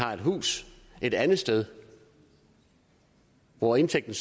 har et hus et andet sted hvor indtægten